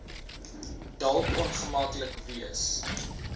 dalk ongemaklik wees